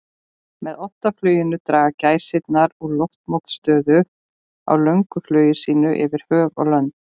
Með oddafluginu draga gæsirnar úr loftmótstöðu á löngu flugi sínu yfir höf og lönd.